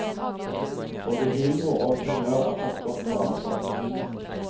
Både humor og humør er tatt godt vare på.